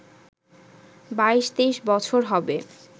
২২-২৩ বছর হবে